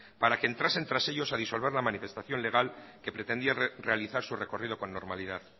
para que entrasen tras ellos a disolver la manifestación legal que pretendía realizar su recorrido con normalidad